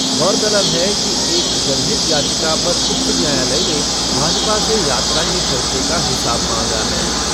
गौरतलब है कि एक जनहित याचिका पर उच्च न्यायालय ने भाजपा से यात्रा के खर्चे का हिसाब मांगा है।